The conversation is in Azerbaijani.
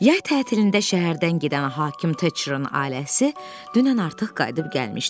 Yay tətilində şəhərdən gedən hakim Teçrın ailəsi dünən artıq qayıdıb gəlmişdi.